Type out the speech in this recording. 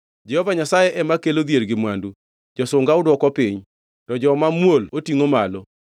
Jehova Nyasaye ema kelo dhier gi mwandu, josunga odwoko piny, to joma muol otingʼo malo.